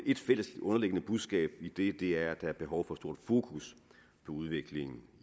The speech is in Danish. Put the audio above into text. et fælles underliggende budskab i det det er at der er behov for stort fokus på udviklingen